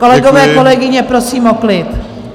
Kolegové, kolegyně, prosím o klid!